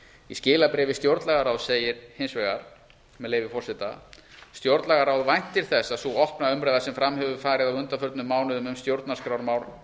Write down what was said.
í skilabréfi stjórnlagaráðs segir hins vegar með leyfi forseta stjórnlagaráð væntir þess að sú opna umræða sem fram hefur farið á undanförnum mánuðum um stjórnarskrármál